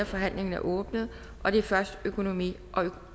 forhandlingen er åbnet og det er først økonomi